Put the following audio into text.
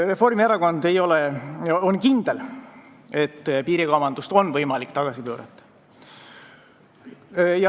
Reformierakond on kindel, et piirikaubandust on võimalik tagasi pöörata.